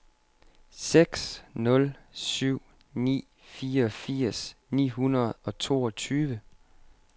seks nul syv ni fireogfirs ni hundrede og toogtyve